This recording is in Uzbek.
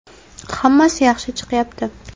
Hammasi yaxshi chiqyapti.